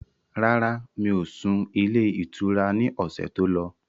Rárá, mi ò sún ilé ìtura ni ọ̀sẹ̀ tó lọ